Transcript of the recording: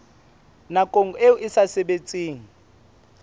nakong eo e sa sebetseng